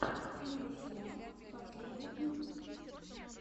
мелисенок последний выпуск